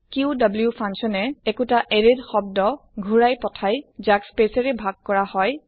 coup function এ ঘুৰাই পঠাই একোটা শব্দ ৰ এৰে ক যাক স্পেচ এ ভাগ কৰে